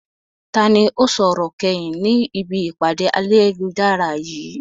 Ta ni ó sọ̀rọ̀ kẹ́yìn ni ibi ìpàdé ayélujára yìí?